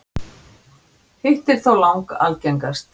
hitt er þó lang algengast